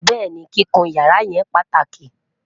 béèni, kíkún yàrá yen pàtàkì